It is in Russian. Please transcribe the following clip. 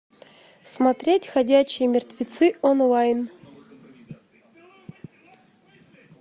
смотреть ходячие мертвецы онлайн